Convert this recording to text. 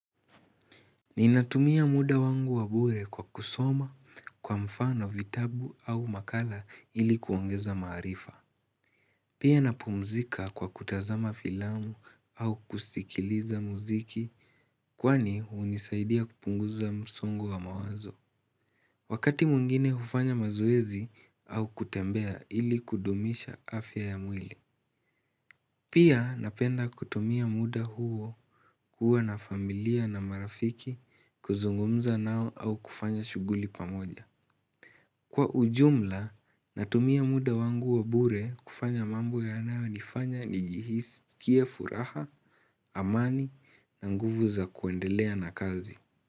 Ninatumia muda wangu wabure kwa kusoma kwa mfano vitabu au makala ili kuongeza maarifa. Pia napumzika kwa kutazama filamu au kusikiliza muziki kwani unisaidia kupunguza msongo wa mawazo. Wakati muingine kufanya mazoezi au kutembea ili kudumisha afya ya mwili. Pia napenda kutumia muda huo kuwa na familia na marafiki kuzungumza nao au kufanya shuguli pamoja. Kwa ujumla, natumia muda wangu wa bure kufanya mambo yanaonifanya nijihisi kie furaha, amani na nguvu za kuendelea na kazi.